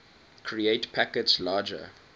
create packets larger